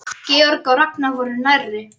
Georg og Ragnar voru nærri.